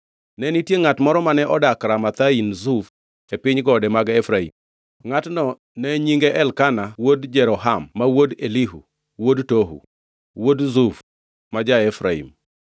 Ne nitie ngʼat moro mane odak Ramathaim Zuf e piny gode mag Efraim. Ngʼatno ne nyinge Elkana wuod Jeroham ma wuod Elihu wuod Tohu, wuod Zuf ma ja-Efraim.